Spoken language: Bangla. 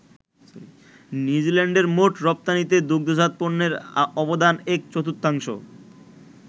নিউজিল্যান্ডের মোট রপ্তানিতে দুগ্ধজাত পণ্যের অবদান এক-চর্তুথাংশ।